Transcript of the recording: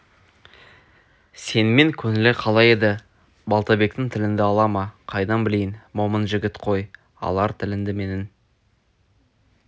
сенімен көңілі қалай еді балтабектің тіліңді ала ма қайдан білейін момын жігіт қой алар тіліңді менің